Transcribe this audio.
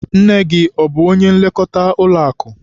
Nne gị, ọ bụ onye nlekọta ụlọakụ?